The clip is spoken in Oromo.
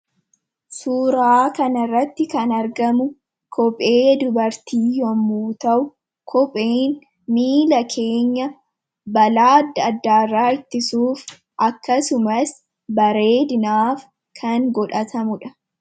Suuraa kana irratti kan argamu kophee dubartii yemmuu ta'u. kopheen miila keenya balaa addaa addaa irraa ittisuuf akkasumas bareedinaaf kan godhatamuudha.